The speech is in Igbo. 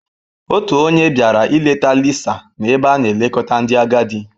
Otu onye bịara ileta Lisa n'ebe a na-elekọta ndị agadi.